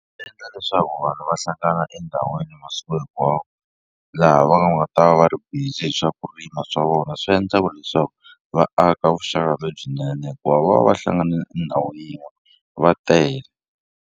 Swi endla leswaku vanhu va hlangana endhawini masiku hinkwawo laha va nga ta va va ri busy hi swa ku rima swa vona swi endlaku leswaku va aka vuxaka lebyinene hikuva va va va hlangane e ndhawu yin'we va tele.